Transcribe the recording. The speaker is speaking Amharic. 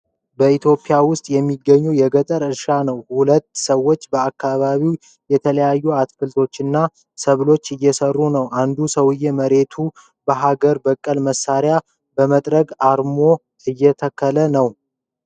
በኢትዮጵያ ውስጥ የሚገኝ የገጠር እርሻ ነው። ሁለት ሰዎች በአካባቢው የተለያዩ አትክልቶችንና ሰብሎችን እየሰሩ ነው። አንዱ ሰውዬ መሬቱን በሃገር በቀል መሳሪያ (በመጥረቢያ) አርሞ እየተከለ ነው።